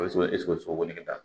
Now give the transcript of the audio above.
sogo ne ka